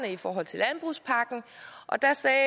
i forhold til landbrugspakken og der sagde